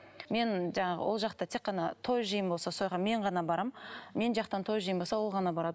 мен жаңағы ол жақта тек қана той жиын болса сояаққа мен ғана барамын мен жақтан той жиын болса ол ғана барады